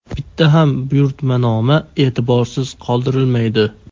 Bitta ham buyurtmanoma e’tiborsiz qoldirilmaydi.